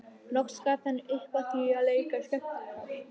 Loks gafst hann upp á því að leika skemmtikraft.